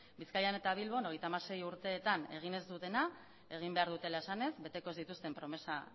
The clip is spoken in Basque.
bizkaian eta bilbon hogeita hamasei urteetan egin ez dutena egin behar dutela esanez beteko ez dituzten promesa